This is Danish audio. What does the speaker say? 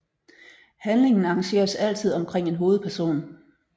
Handlingen arrangeres altid omkring en hovedperson